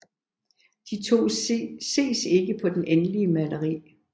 De to ses ikke på det endelige maleri